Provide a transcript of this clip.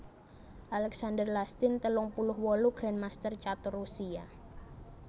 Alexander Lastin telung puluh wolu grandmaster catur Rusia